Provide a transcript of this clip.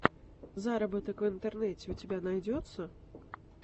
заработок в интернете у тебя найдется